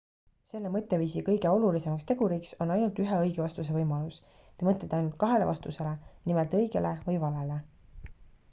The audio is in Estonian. selle mõtteviisi kõige olulisemaks teguriks on ainult ühe õige vastuse võimalus te mõtlete ainult kahele vastusele nimelt õigele või valele